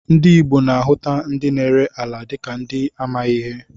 Ndị Igbo na-ahuta ndị na-ere ala dịka ndị amaghị ihe